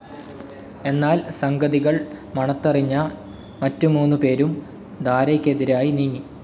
എന്നാൽ സംഗതികൾ മണത്തറിഞ്ഞ മറ്റു മൂന്നു പേരും ദാരയ്ക്കെതിരായി നീങ്ങി.